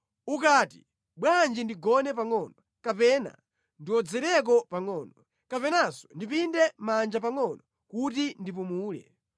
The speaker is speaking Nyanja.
Ukati, “Bwanji ndigone pangʼono,” kapena “Ndiwodzereko pangʼono,” kapenanso “Ndipinde manja pangʼono kuti ndipumule,”